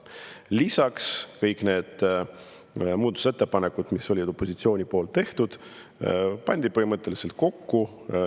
Lisaks pandi kõik need muudatusettepanekud, mis olid opositsiooni tehtud, kokku.